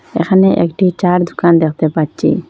এখানে একটি চা'র দুকান দেখতে পাচ্ছি।